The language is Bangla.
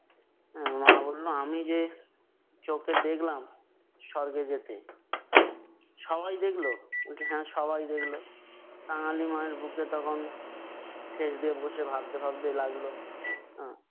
মা বললো, আমি যে চক্ষে দেখলাম স্বর্গে যেতে। সবাই দেখলো? বলছে হ্যাঁ সবাই দেখল। কাঙালির মায়ের মুখ দিয়ে তখন ঠেস দিয়ে বসে ভাবতে ভাবতে লাগলো। আহ